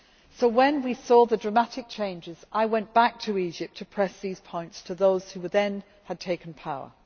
So when we saw the dramatic changes, I went back to Egypt to press these points to those who had then taken power.